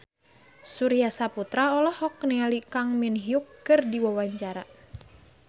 Surya Saputra olohok ningali Kang Min Hyuk keur diwawancara